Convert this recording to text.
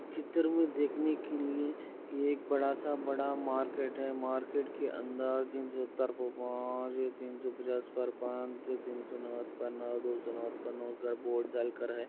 चित्र में देख ने के लिए यह एक बड़ा सा बड़ा मार्किट है मार्केट अंदर --